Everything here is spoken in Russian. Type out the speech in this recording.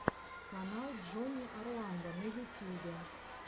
канал джонни орландо на ютьюбе